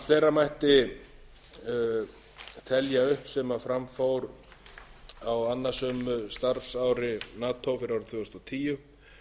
fleira mætti telja upp sem fram fór á annasömu starfsári nato fyrir árið tvö þúsund og tíu